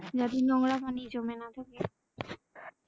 যাতে নোংরা পানি জমে না থাকে